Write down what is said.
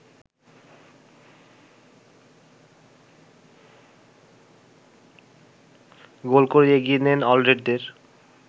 গোল করে এগিয়ে নেন অলরেডদের